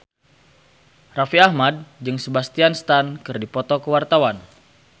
Raffi Ahmad jeung Sebastian Stan keur dipoto ku wartawan